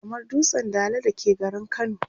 kamar dutsen Dala da ke garin kano